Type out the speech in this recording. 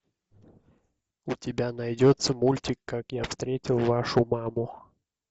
у тебя найдется мультик как я встретил вашу маму